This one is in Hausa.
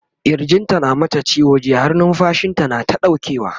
kirjin ta na ta mata ciwo jiya har numfashinta nata ɗaukewa